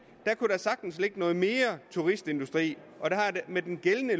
der kunne der sagtens ligge noget mere turistindustri og med den gældende